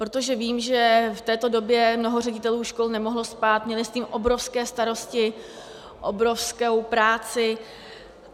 Protože vím, že v této době mnoho ředitelů škol nemohlo spát, měli s tím obrovské starosti, obrovskou práci.